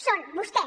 són vostès